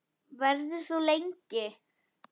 Verður þú lengi?